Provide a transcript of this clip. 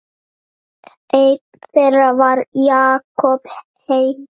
Einn þeirra var Jakob heitinn